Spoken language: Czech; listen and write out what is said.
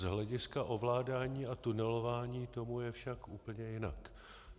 Z hlediska ovládání a tunelování tomu je však úplně jinak.